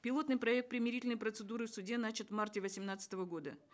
пилотный проект примирительной процедуры в суде начат в марте восемнадцатого года